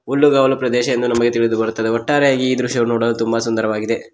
ಹುಲ್ಲುಗಾವಲು ಪ್ರದೇಶ ಎಂದು ನಮಗೆ ತಿಳಿದು ಬರುತ್ತದೆ ಒಟ್ಟಾರೆ ಈ ದೃಶ್ಯವನ್ನು ನೋಡಲು ತುಂಬ ಸುಂದರವಾಗಿದೆ.